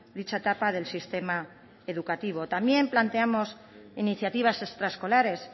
dicha etapa del sistema educativo también planteamos iniciativas extraescolares